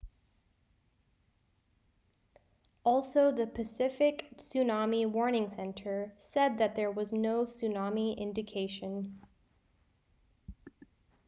also the pacific tsunami warning center said that there was no tsunami indication